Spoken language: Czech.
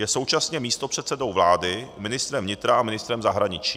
Je současně místopředsedou vlády, ministrem vnitra a ministrem zahraničí.